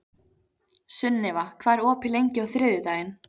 Sunniva, hvað er opið lengi á þriðjudaginn?